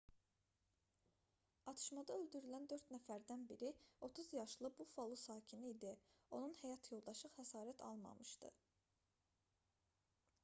atışmada öldürülən dörd nəfərdən biri 30 yaşlı buffalo sakini idi onun həyat yoldaşı xəsarət almamışdı